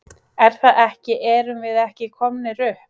Er það ekki erum við ekki komnir upp?